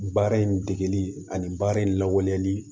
Baara in degeli ani baara in lawaleli